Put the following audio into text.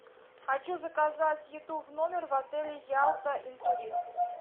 хочу заказать еду в номер в отеле ялта интурист